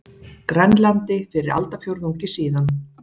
Grænlandi fyrir aldarfjórðungi síðan.